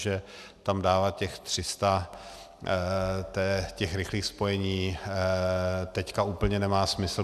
Žže tam dáme těch 300, těch rychlých spojení, teď úplně nemá smysl.